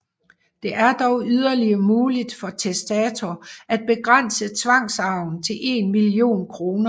Det er dog yderligere muligt for testator at begrænse tvangsarven til en million kr